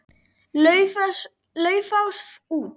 Laufás út.